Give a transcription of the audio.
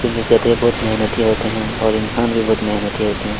क्योंकि गधे बहुत मेहनती होते है और इंसान भी बहुत मेहनती होते है।